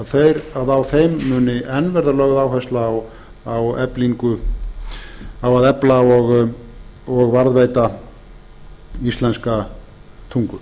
runnir upp að á þeim muni enn verða lögð áhersla á að efla og varðveita íslenska tungu